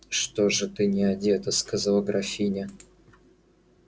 что же ты не одета сказала графиня